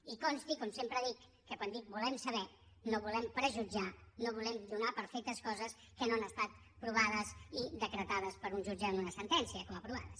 i consti com sempre dic que quan dic volem saber no volem prejutjar no volem donar per fetes coses que no han estat provades i decretades per un jutge en una sentència com a provades